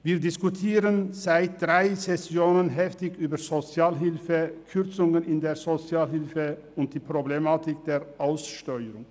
Wir diskutieren seit drei Sessionen heftig über Sozialhilfe, Kürzungen in der Sozialhilfe und die Problematik der Aussteuerung.